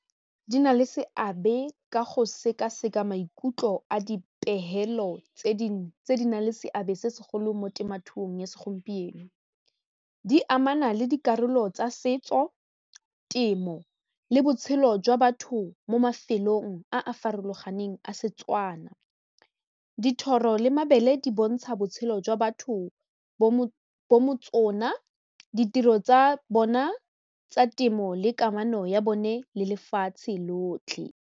Di na le seabe ka go sekaseka maikutlo a dipegelo tse di na le seabe se segolo mo temothuong ya segompieno, di amana le dikarolo tsa setso temo le botshelo jwa batho mo mafelong a a farologaneng a Setswana, dithoro le mabele di bontsha botshelo jwa batho bo ditiro tsa bona tsa temo le kamano ya bone le lefatshe lotlhe.